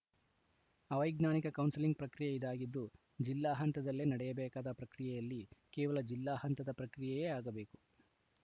ಅವೈಜ್ಞಾನಿಕ ಕೌನ್ಸಿಲಿಂಗ್‌ ಪ್ರಕ್ರಿಯೆ ಇದಾಗಿದ್ದು ಜಿಲ್ಲಾ ಹಂತದಲ್ಲೇ ನಡೆಯಬೇಕಾದ ಪ್ರಕ್ರಿಯೆಯಲ್ಲಿ ಕೇವಲ ಜಿಲ್ಲಾ ಹಂತದ ಪ್ರಕ್ರಿಯೆಯೇ ಆಗಬೇಕು